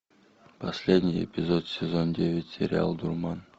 последний эпизод сезон девять сериал дурман